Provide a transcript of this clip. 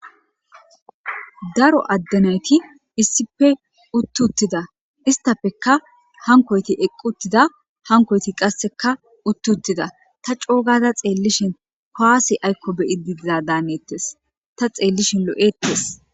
daro addenayti issife uttuttida istafeka hankoyti eqquttida hankoyti qasseka uttuttida ta coogada xeellishin kaasi aykko beyi diiza daanettes ta xeellishin lo7ettes